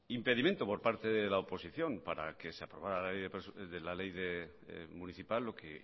impedimento por parte de la oposición para que se aprobara la ley municipal lo que